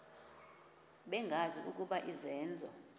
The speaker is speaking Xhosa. bengazi ukuba izenzo